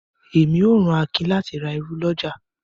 Ẹmi ó rán Àkín láti rà irù lọ́jà.